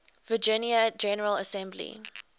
virginia general assembly